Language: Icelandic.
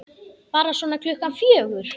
Bara svona klukkan fjögur.